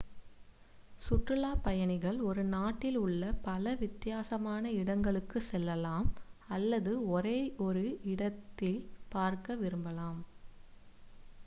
சுற்றுலாப் பயணிகள் ஒரு நாட்டில் உள்ள பல வித்தியாசமான இடங்களுக்குச் செல்லலாம் அல்லது ஒரே ஒரு இடத்தை பார்க்க விரும்பலாம்